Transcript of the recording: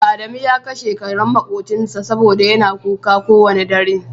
adamu ya kashe karen makobcinsa saboda yana kuka kowane dare.